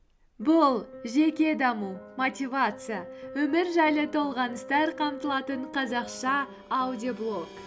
бұл жеке даму мотивация өмір жайлы толғаныстар қамтылатын қазақша аудиоблог